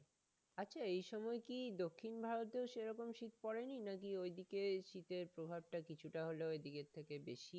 আচ্ছা এই সময় কি দক্ষিণ ভারতেও সেরকম শীত পড়েনি? নাকি ঐদিকে শীতের প্রভাব টা কিছুটা হলেও এইদিকে থেকে বেশি?